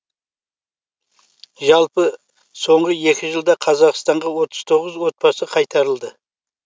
жалпы соңғы екі жылда қазақстанға отыз тоғыз отбасы қайтарылды